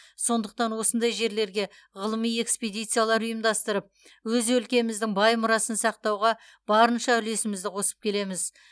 сондықтан осындай жерлерге ғылыми экспедициялар ұйымдастырып өз өлкеміздің бай мұрасын сақтауға барынша үлесімізді қосып келеміз